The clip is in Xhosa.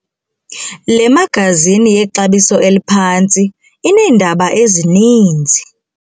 Le magazini yexabiso eliphantsi ineendaba ezininzi.